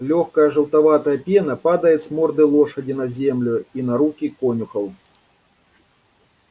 лёгкая желтоватая пена падает с морды лошади на землю и на руки конюхов